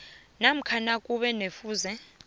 namkha nakube kufuze